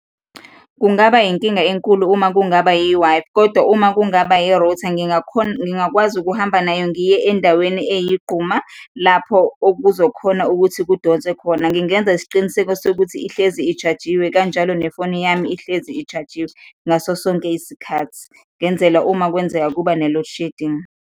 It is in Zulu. Kungaba inkinga enkulu uma kungaba yi-Wi-Fi kodwa uma kungaba yi-router ngingakhona, ngingakwazi ukuhamba nayo, ngiye endaweni eyigquma, lapho okuzokhona ukuthi kudonswe khona. Ngingenza isiqiniseko sokuthi ihlezi i-charge-iwe kanjalo nefoni yami ihlezi i-charge-iwe ngaso sonke isikhathi, ngenzela uma kwenzeka kuba ne-loadshedding.